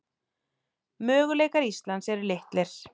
Möguleikar Íslands eru litlir